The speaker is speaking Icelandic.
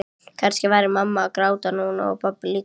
Kannski væri mamma að gráta núna og pabbi líka.